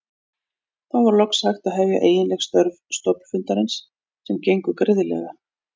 Þá var loks hægt að hefja eiginleg störf stofnfundarins sem gengu greiðlega.